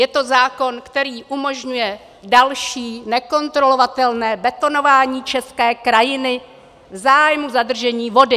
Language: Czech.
Je to zákon, který umožňuje další nekontrolovatelné betonování české krajiny v zájmu zadržení vody.